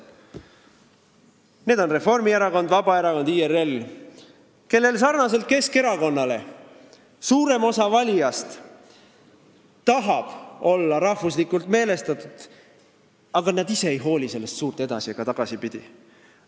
Need on Reformierakond, Vabaerakond ja IRL, kelle valijatest suurem osa tahab sarnaselt Keskerakonnaga olla rahvuslikult meelestatud, aga nad ise ei hooli sellest suurt edasi- ega tagasipidi.